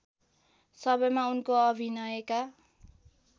सबैमा उनको अभिनयका